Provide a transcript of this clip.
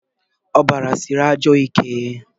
ọbara siri ajọ ike